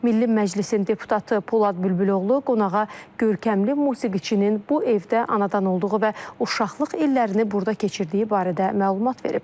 Milli Məclisin deputatı Polad Bülbüloğlu qonağa görkəmli musiqiçinin bu evdə anadan olduğu və uşaqlıq illərini burada keçirdiyi barədə məlumat verib.